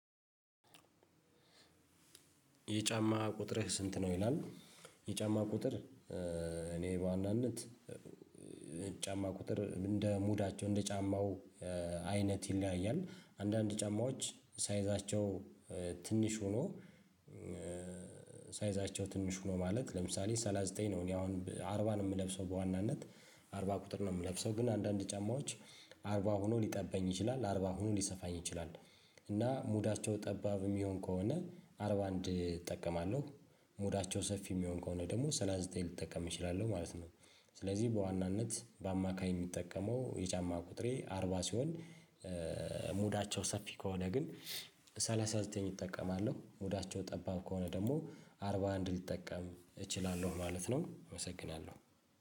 የጫማ ቁጥርህ ስንት ነው ይላል። የጫማ ቁጥር እኔ በዋናነት ጫማ ቁጥር እንደ ሙዳቸው እንደ ጫማው አይነት ይለያያል። አንዳንድ ጫማዎች ሳይዛቸው ትንሽ ሆኖ ሳይዛቸው ትንሽ ሆኖ ማለት ለምሳሌ ሰላሳ ዘጠኝ ነው እኔ አሁን አርባ ነው የምለብሰው በዋናነት። አርባ ቁጥር ነው የምለብሰው። ግን አንዳንድ ጫማዎች አርባ ሆኖ ሊጠበኝ ይችላል አርባ ሆኖ ሊሰፋኝ ይችላል። እና ሙዳቸው ጠባብ የሚሆን ከሆነ አርባ አንድ እጠቀማለሁ። ሞዳቸው ሰፊ የሚሆን ከሆነ ደግሞ ሰላሳ ዘጠኝ ልጠቀም እችላለሁ ማለት ነው። ስለዚህ በዋናነት በአማካይ የሚጠቀመው የጫማ ቁጥሬ አርባ ሲሆን ሙዳቸው ሰፊ ከሆነ ግን ሰላሳ ዘጠኝ እጠቀማለሁ፣ ሙዳቸው ጠባብ ከሆነ ደግሞ አርባ አንድ ሊጠቀም እችላለሁ ማለት ነው አመሰግናለሁ።